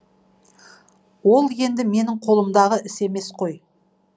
ол енді менің қолымдағы іс емес қой